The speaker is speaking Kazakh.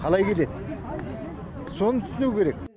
қалай келеді соны түсіну керек